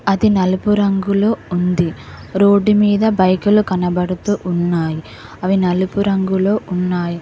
అది నలుపు రంగులో ఉంది రోడ్డు మీద బైకులు కనబడుతూ ఉన్నాయి అవి నలుపు రంగులో ఉన్నాయి.